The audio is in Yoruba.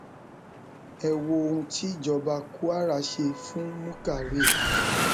ẹ wo ohun tíjọba kwara ṣe fún muka ray